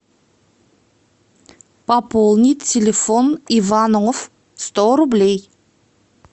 пополнить телефон иванов сто рублей